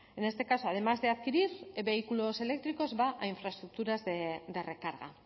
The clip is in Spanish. en este caso además de adquirir vehículos eléctricos va infraestructuras de recarga